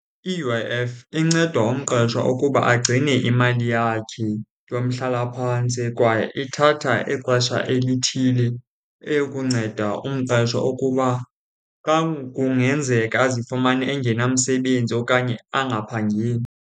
I-U_I_F inceda umqashwa ukuba agcine imali yakhe yomhlalaphantsi, kwaye ithatha ixesha elithile eyokunceda umqeshwa ukuba xa kungenzeka azifumane engenamsebenzi okanye angaphangeli.